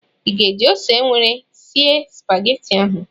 ị ga-eji ose nwere sie Supagetii ahụ?